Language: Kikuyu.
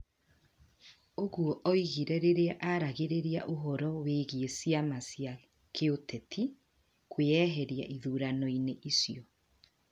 ũguo augire rĩrĩa aragĩrĩria ũhoro wĩgie ciama cia kĩuteti kwĩyeheria ithurano-inĩ icio.